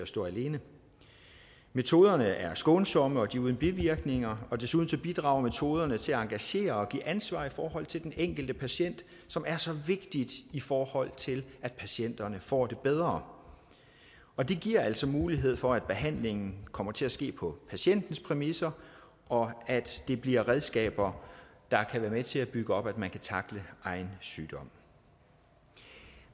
stå alene metoderne er skånsomme de er uden bivirkninger og desuden bidrager metoderne til at engagere og give ansvar i forhold til den enkelte patient som er så vigtigt i forhold til at patienterne får det bedre og det giver altså mulighed for at behandlingen kommer til at ske på patientens præmisser og at det bliver redskaber der kan være med til at bygge op at man kan tackle egen sygdom